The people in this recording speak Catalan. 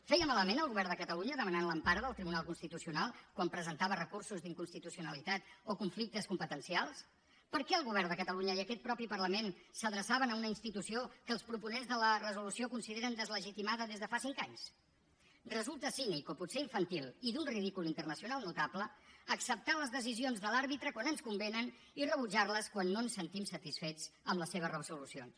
feia malament el govern de catalunya demanant l’empara del tribunal constitucional quan presentava recursos d’inconstitucionalitat o conflictes competencials per què el govern de catalunya i aquest mateix parlament s’adreçaven a una institució que els proponents de la resolució consideren deslegitimada des de fa cinc anys resulta cínic o potser infantil i d’un ridícul internacional notable acceptar les decisions de l’àrbitre quan ens convenen i rebutjar les quan no ens sentim satisfets amb les seves resolucions